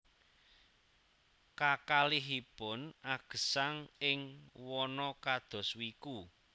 Kakalihipun agesang ing wana kados wiku